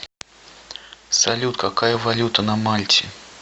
салют какая валюта на мальте